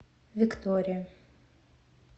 виктория